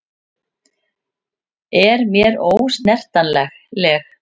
Er mér ósnertanleg.